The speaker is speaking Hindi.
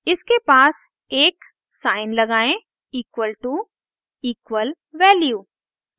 इसके पास एक साइन लगाएं equal to =value